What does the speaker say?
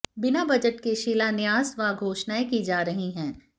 बिना बजट के शिलान्यास व घोषणाएं की जा रही है